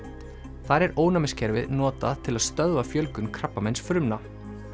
þar er ónæmiskerfið notað til að stöðva fjölgun krabbameinsfrumna